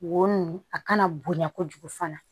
Wo nin a kana bonya kojugu fana